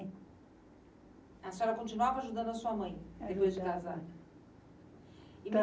A senhora continuava ajudando a sua mãe depois de casar?